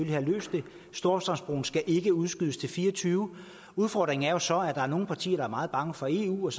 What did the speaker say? have løst det storstrømsbroen skal ikke udskydes til fire og tyve udfordringen er så at der er nogle partier der er meget bange for eu og at